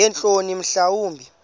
ngeentloni mhla wumbi